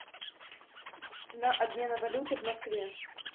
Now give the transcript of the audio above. цена обмена валюты в москве